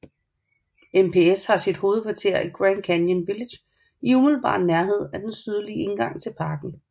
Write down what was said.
NPS har sit hovedkvarter i Grand Canyon Village i umiddelbart nærhed af den sydlige indgang til parken